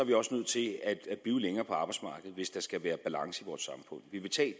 vi også nødt til at blive længere på arbejdsmarkedet hvis der skal være balance